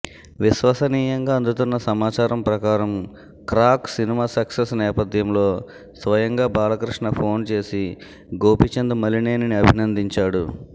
విశ్వసనీయంగా అందుతున్న సమాచారం ప్రకారం క్రాక్ సినిమా సక్సెస్ నేపథ్యంలో స్వయంగా బాలకృష్ణ ఫోన్ చేసి గోపీచంద్ మలినేనిని అభినందించాడు